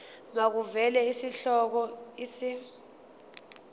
makuvele isihloko isib